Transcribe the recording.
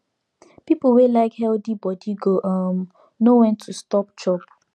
people wey like healthy body go um know when to stop chop